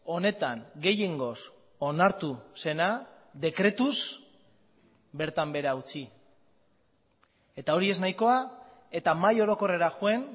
honetan gehiengoz onartu zena dekretuz bertan behera utzi eta hori ez nahikoa eta mahai orokorrera joan